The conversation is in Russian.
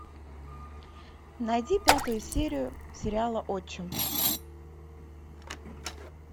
найди пятую серию сериала отчим